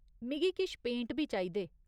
मिगी किश पेंट बी चाहिदे।